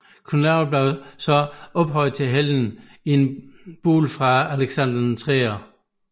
Knud Lavard blev så ophøjet til helgen i en bulle fra Alexander 3